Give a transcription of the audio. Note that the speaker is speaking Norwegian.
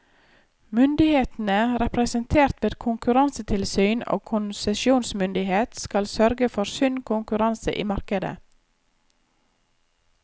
Myndighetene, representert ved konkurransetilsyn og konsesjonsmyndighet, skal sørge for sunn konkurranse i markedet.